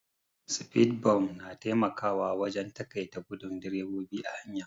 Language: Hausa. Sfidbumf na taimakawa wajen taƙaita gudun drebobi a hanya.